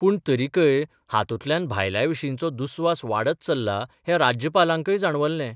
पूण तरिकय हातूंतल्यान भायल्यांविशींचो दुस्वास वाडत चल्ला हैं राज्यपालांकय जाणवल्लें.